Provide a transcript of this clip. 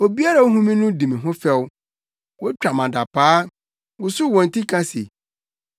Obiara a ohu me di me ho fɛw; wotwa me adapaa, wosow wɔn ti ka se: